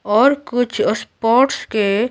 और कुछ स्पोर्ट्स के --